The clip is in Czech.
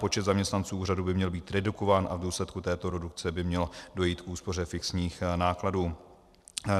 Počet zaměstnanců úřadu by měl být redukován a v důsledku této redukce by mělo dojít k úspoře fixních nákladů.